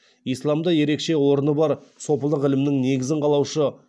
исламда ерекше орны бар сопылық ілімнің негізін қалаушы